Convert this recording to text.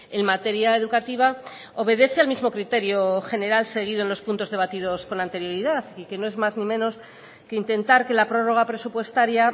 en materia educativa obedece al mismo criterio general seguido en los puntos debatidos con anterioridad y que no es más ni menos que intentar que la prórroga presupuestaria